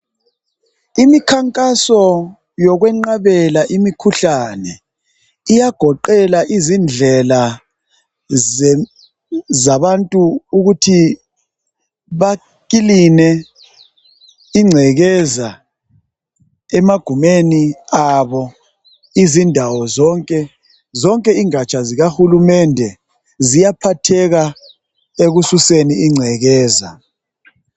Imikhankaso yokwenqabela imikhuhlane iyagoqela izindlela zabantu ukuthi bakiline ingcekeza emagumeni abo. Izindawo zonke, zonke ingatsha zikahulumende ziyaphatheka ekususeni ingcekeza.